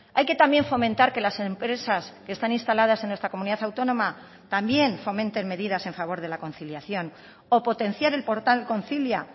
hay que también fomentar que las empresas que están instaladas en nuestra comunidad autónoma también fomenten medidas en favor de la conciliación o potenciar el portal concilia